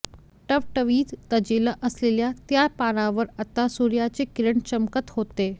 टवटवीत तजेला असलेल्या त्या पानांवर आता सूर्याचे किरण चमकत होते